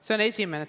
Seda esiteks.